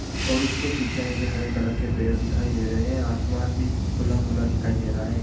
और उसके पीछे मुझे हरे कलर के पेड़ दिखाई दे रहे हैं आसमान भी खुला खुला दिखाई दे रहा है।